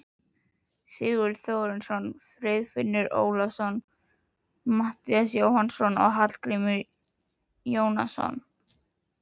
Sigurður Þórarinsson, Friðfinnur Ólafsson, Matthías Jónasson og Hallgrímur Jónasson.